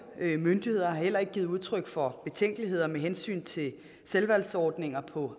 myndigheder har heller ikke givet udtryk for betænkeligheder med hensyn til selvvalgsordninger på